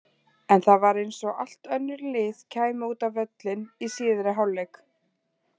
En það var eins og allt önnur lið kæmu út á völlinn í síðari hálfleik.